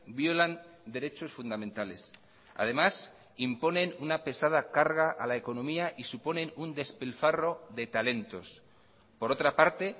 violan derechos fundamentales además imponen una pesada carga a la economía y suponen un despilfarro de talentos por otra parte